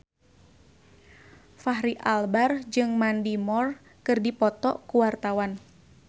Fachri Albar jeung Mandy Moore keur dipoto ku wartawan